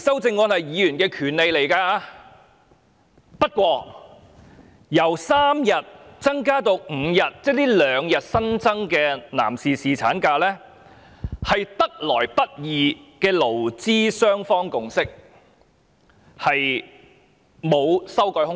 不過，局長說由3天增至5天，這兩天新增的男士侍產假，是得來不易的勞資雙方共識，並無修改空間。